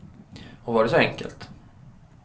Och var det så enkelt?